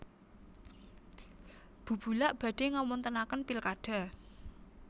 Bubulak badhe ngawontenaken pilkada